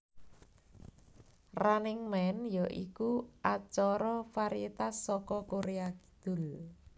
Running Man ya iku acara varietas saka Korea Kidul